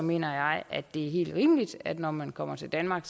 mener jeg at det er helt rimeligt at når man kommer til danmark